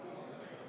Hea ettekandja!